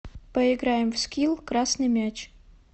поиграем в скил красный мяч